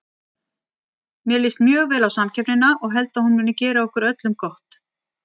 Mér líst mjög vel á samkeppnina og held að hún muni gera okkur öllum gott.